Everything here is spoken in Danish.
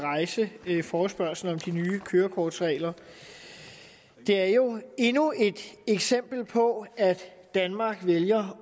rejse forespørgslen om de nye kørekortregler det er jo endnu et eksempel på at danmark vælger